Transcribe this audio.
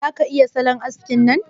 Za ka iya salon haskin nan?